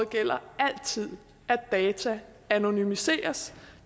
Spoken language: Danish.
gælder altid at data anonymiseres